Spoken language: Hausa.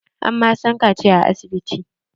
An ma Sani kaciya a asibiti.